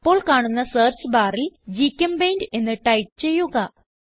അപ്പോൾ കാണുന്ന സെർച്ച് barൽ ഗ്ചെമ്പെയിന്റ് എന്ന് ടൈപ്പ് ചെയ്യുക